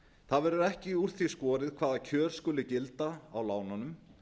það verður ekki úr því skorið hvaða kjör skulu gilda á lánunum